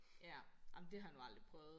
Ja ej men det har jeg nu aldrig prøvet